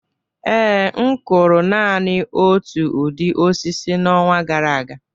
Ee, m kụrụ naanị otu ụdị osisi n'ọnwa gara aga